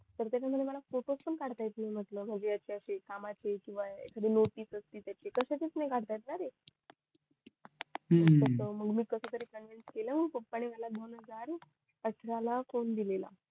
त्याच्या मध्ये मला फोटोस पण काढता येत नाय म्हंटल कामाचे किव्हा कशाचेत नई काढता येत ना रे मग मी कस तरी कॉन्व्हेन्स केलं मग पप्पा नि मला दोन हजार अठरा ला फोन दिलेला